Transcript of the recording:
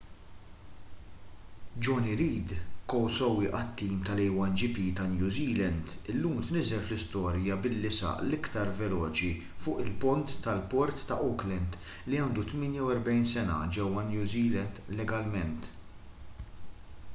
jonny reid ko-sewwieq għat-tim tal-a1gp ta’ new zealand illum tniżżel fl-istorja billi saq l-iktar veloċi fuq il-pont tal-port ta’ auckland li għandu 48 sena ġewwa new zealand legalment